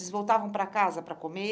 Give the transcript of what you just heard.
Vocês voltavam para casa para comer?